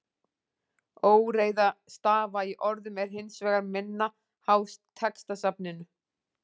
Óreiða stafa í orðum er hins vegar minna háð textasafninu.